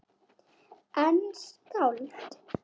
En skáld?